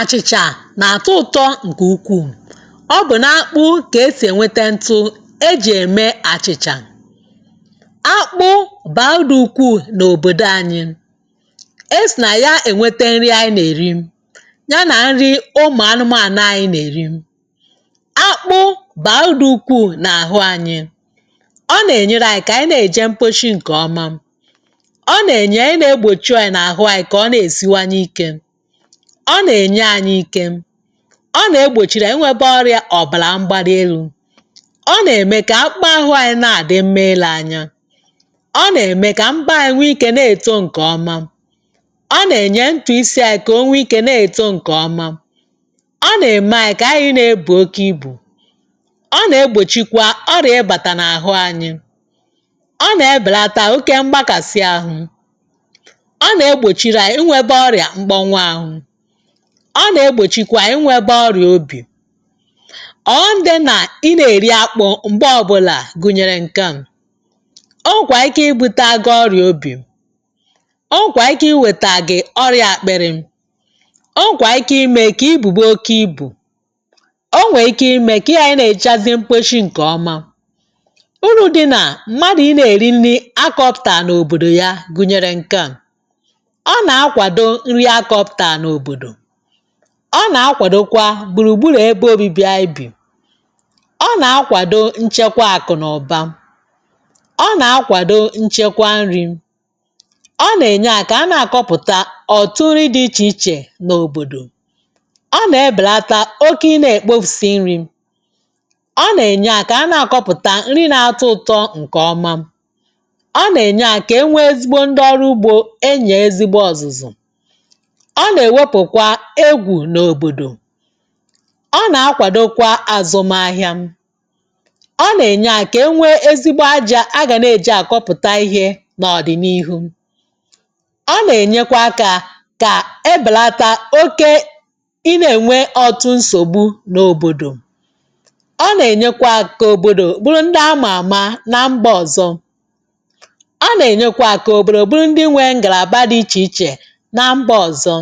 Achịcha na-atọ ụtọ nke ukwuu. Ọ bụ n’akpụ ka esi enweta ntụ e ji eme achịcha. Akpụ bara uru dị ukwuu n’obodo anyị. E si na ya enweta nrị anyị na-eri, ya na nrị ụmụ anụmanụ na-eri. Akpụ bara uru dị ukwuu n’ahụ anyị. Ọ na-enyere anyị aka ka anyị na-eje mposhi nke ọma. Ọ na-enyere anyị na egbochi anyị n’ahụ anyị. Ọ na-enye anyị ike. Ọ na-egbochiri anyị ịnwebe ọrịa ọbara mgbali elu. Ọ na-eme ka akpụkpọ ahụ anyị na-adị mma ile anya. Ọ na-eme ka mbọ anyị nwee ike na-eto nke ọma. Ọ na-eme ntutu isi anyị ka o nwee ike na-eto nke ọma. Ọ na-eme anyị ka anyị na-ebu oke ibu. ọ na-egbochikwa ọrịa ịbata n’ahụ anyị. ọ na-ebelata oke mgbakasị ahụ. Ọ na-egbochirianyị inwe ọrịa mkpọnwụ ahụ. Ọ na-egbochikwa inwebe ọrịa obi. Ọghọm dị na ị na-eri akpụ mgbe ọbụla gụnyere nke a; o nwekwara ike ibutere gị ọrịa obi. O nwekwara ike iwetara gị ọrịa akpịrị. O nwekwa ike ime ka ibube oke ibu. O nwere ike ime ka ị ghara ị na-ejechazi mkposhi nke ọma. Uru dị na mmadụ ị na-eri nri akọpụụtara n’obodo ya gụnyere nke a; ọ na-akwado nri a kọpụtara n’obodo. Ọ na-akwadokwa gburu gburu ebe obibi anyị bi. Ọ na-akwado nchekwa akụ na ụba. Ọ na-akwado nchekwa nri. Ọ na-eme anyị ka a na-akọpụta ọtụtụ nri dị iche iche n’obodo. Ọ na-ebelata oke ị na-ekpofusi nri. Ọ na-eme anyị ka a na-akọpụta nri na-atọ ụtọ nke ọma. Ọ na-eme anyị ka e nwee ezigbo ndị ọrụ ugbo enyere ezigbo ọzụzụ. Ọ na ewepụkwa egwu n’obodo. Ọ na-akwadokwa azụmahịa. Ọ na-enye aka ka e nwee ezigbo aja a ga na-eje akọpụta ihe na ọdịnihu. Ọ na-enyekwa aka ka e belata oke ị na-enwe ọtụtụ nsogbu n’obodo. Ọ na-enyekwa aka ka obodo bụrụ ndị a ma ama na mba ọzọ. Ọ na-enyekwa aka ka obodo bụrụ ndị nwere ngalaba dị iche iche na mba ọzọ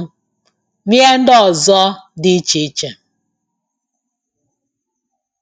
na ihe ndị ọzọ dị ichè ichè